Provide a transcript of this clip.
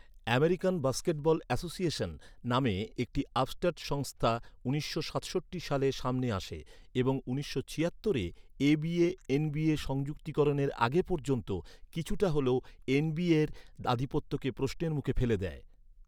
American Basketball Association নামে একটি upstart সংস্থা উনিশশো সাতষট্টি সালে সামনে আসে এবং উনিশশো ছিয়াত্তরে এবিএ এনবিএ সংযুক্তিকরণের আগে পর্যন্ত, কিছুটা হলেও এন.বি.এর আধিপত্যকে প্রশ্নের মুখে ফেলে দেয়।